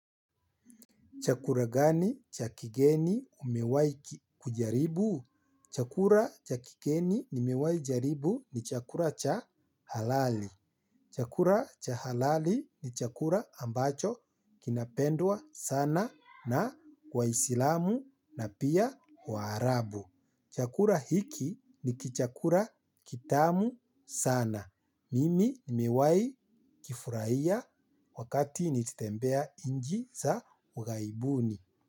Chakula gani cha kigeni umewahi kujaribu? Chakula cha kigeni nimewahi jaribu ni chakula cha halali. Chakula cha halali ni chakula ambacho kinapendwa sana na kwa isilamu na pia warabu. Chakura hiki ni kichakura kitamu sana. Mimi nimewai kifurahia wakati niltembea inchi za ughaibuni.